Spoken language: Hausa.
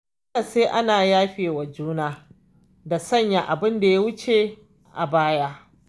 Dole sai ana yafe wa juna da sanya abunda ya wuce a baya.